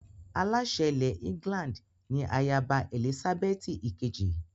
Aláṣẹ ilẹ̀ England ni ayaba Èlísábẹ́ẹ́tì ìkejì